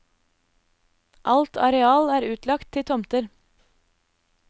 Alt areal er utlagt til tomter.